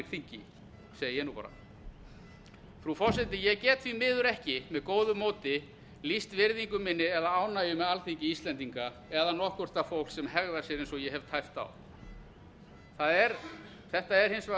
þingi segi ég nú bara frú forseti ég get því miður ekki með góðu móti lýst virðingu minni eða ánægju með alþingi íslendinga eða nokkurt það fólk sem hegðar sér eins og ég hef tæpt á þetta er hins vegar